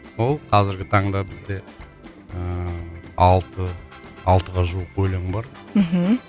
сол қазіргі таңда бізде ыыы алты алтыға жуық өлең бар мхм